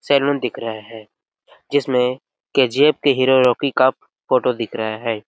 Salon दिख रहा है जिसमें केजीएफ के हीरो हीरो की कफ फोटो दिख रहा है।